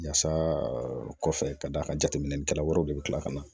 Yaasa kɔfɛ kɔfɛ ka d'a ka jateminɛkɛla wɛrɛw de bɛ kila ka na